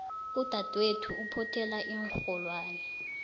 udadwethu uphothela iinrholwani